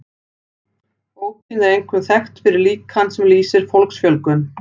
Bókin er einkum þekkt fyrir líkan sem lýsir fólksfjölgun.